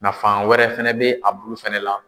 Nafan wɛrɛ fɛnɛ bɛ a bulu fɛnɛ la.